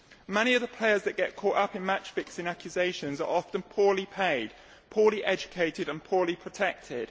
Many of the players that get caught up in match fixing accusations are often poorly paid, poorly educated and poorly protected.